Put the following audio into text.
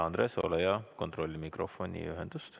Andres, ole hea, kontrolli mikrofoni ühendust.